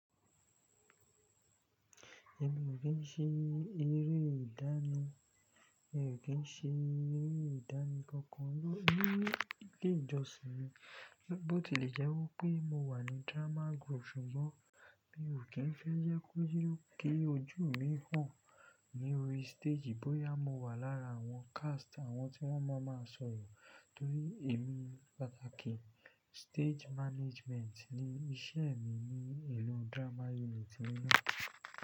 Èmi ò kín ṣe eré ìdánì, èmi ò kín ṣe eré ìdánì kankan lórí, ní ile ìjọsìn mi. Bóti lẹ̀ jẹ́ wípé mo wà ní drama group ṣùgbọ́n mi ò kín fẹ́ jẹ́ kó je wipe kí ojú mi hàn lórí stage bóyá mo wà lára àwọn cast àwọn tí wọ́n mọ máa sọ̀rọ̀. Torí èmi pàtàkì stage management ni iṣẹ́ mi ní ìlú drama unit yen no.